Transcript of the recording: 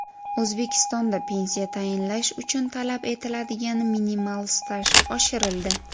O‘zbekistonda pensiya tayinlash uchun talab etiladigan minimal staj oshirildi .